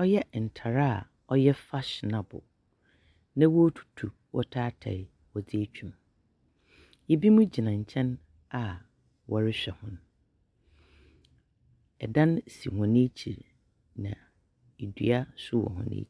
ɔyɛ ntare aa ɔyɛ fahyinabol. Na wo tutu wɔ tai tai wɔdze atwam. Ibi mo gyina nkyɛn aa wɔre hwɛ wɔn. Ɛdan so wɔn akyir na idua so wɔ wɔn akyir.